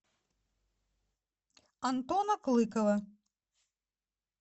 антона клыкова